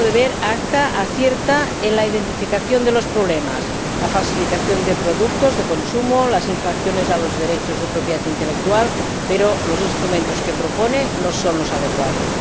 A mi modo de ver, el ACTA acierta en la identificación de los problemas, es decir, la falsificación de productos de consumo y las infracciones a los derechos de propiedad intelectual, pero los instrumentos que propone no son los adecuados.